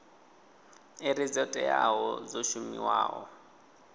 iri dzo teaho dzo shumiwaho